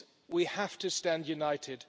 We have to stand united.